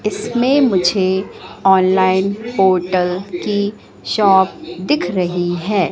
इसमें मुझे online portal की शॉप दिख रही है।